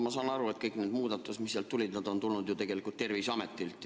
Ma saan aru, et kõik need muudatused, mis seal kirjas on, on tulnud tegelikult Terviseametilt.